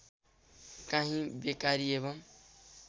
काहीँ बेकारी एवं